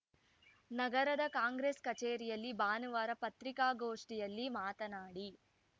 ನಗರದ ಕಾಂಗ್ರೆಸ್‌ ಕಚೇರಿಯಲ್ಲಿ ಭಾನುವಾರ ಪತ್ರಿಕಾಗೋಷ್ಠಿಯಲ್ಲಿ ಮಾತನಾಡಿ